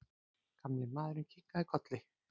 Gamli maðurinn kinkaði kolli.